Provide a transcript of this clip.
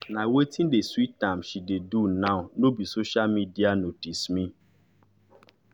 na wetin dey sweet am she dey do now nor be social media notice me